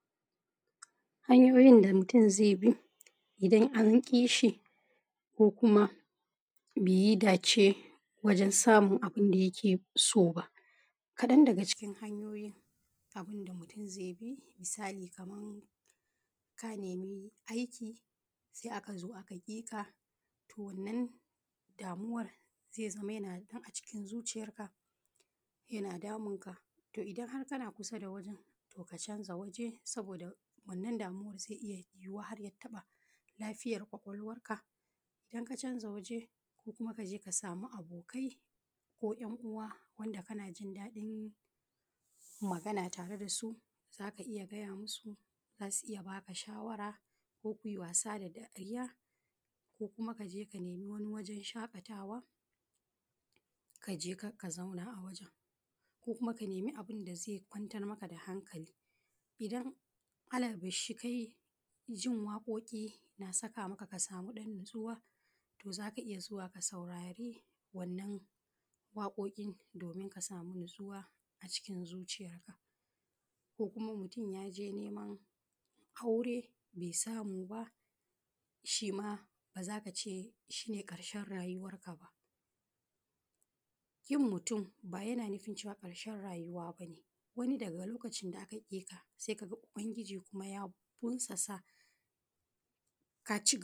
hanyoyin da mutum zai bi idan an ƙishi ko kuma bai yi dace wajen samun abin da yake so ba, kaɗan daga cikin hanyoyin abin da mutum zai bi, misali kaman ka nemi aiki sai aka zo aka ƙika toh wannan damuwar zai zama yana nan a cikin zuciyar ka yana damunka toh idan har kana ƙusa da wurin ka ʧanza wurin saboda wannan damuwar zai iya yuwuwa har ya taɓa lafiyar ƙwaƙƙwalwarka idan ka canza waje ko kuma kaje ka samu abokai ko ‘yanuwa wanda kana jin dadin magana tare da su zaka iya gaya musu zasu iya baka shawara ko kuyi wasa da dariya ko kuma kaje ka nemi wani wajen shakatawa kaje ka zauna a wajen ko kuma ka nemi abin da zai kwantar maka da hankali idan alabarshi kai jin waƙoƙi yana saƙa maka ka samu ɗan natsuwa zaka iya zuwa ka saurari wannan waƙoƙin domin ka samu natsuwa a cikin zuciyar ka ko kuma mutum yaje neman aure bai samu ba shima baza ka ce shine ƙarshen rayuwarka ba kin mutum ba yana nufin ƙarshen rayuwa bane wani daga lokacin da aka ƙika sai kaga ubangiji ya ƙunsasa ka shi.